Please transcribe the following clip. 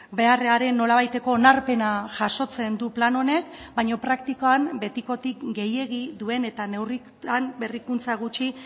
beharraren nolabaiteko onarpena jasotzen du plan honek baina praktikan betikotik gehiegi duen eta neurritan berrikuntza gutxi